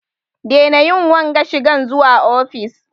Daina yin wanga shigan zuwa ofis!